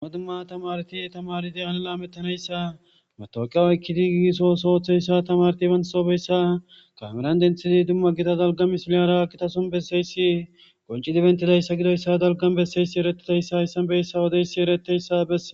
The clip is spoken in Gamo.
duma dumma tamarti tamaridiana laamettanayssa matoqiya oykkidi gigisoo sooththeyssa tamarti bansobeyssa kameran denthidi dumma gita dalga misiliyara akkitason besseysi qonci dibentidayssa gidoyssa dalgan besseyssi erettidayssa issanbeyssa wodeysi ereteyssa besse